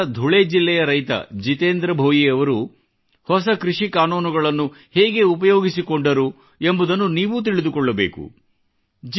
ಮಹಾರಾಷ್ಟ್ರದ ಧುಳೆ ಜಿಲ್ಲೆಯ ರೈತ ಜಿತೆಂದ್ರ ಭೋಯಿ ಅವರು ಹೊಸ ಕೃಷಿ ಕಾನೂನುಗಳನ್ನು ಹೇಗೆ ಉಪಯೋಗಿಸಿಕೊಂಡರು ಎಂಬುದನ್ನು ನೀವೂ ತಿಳಿದುಕೊಳ್ಳಬೇಕು